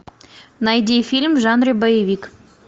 найди фильм в жанре боевик